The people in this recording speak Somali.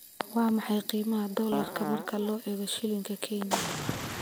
Waa maxay qiimaha dollarka marka loo eego shilinka Kenya?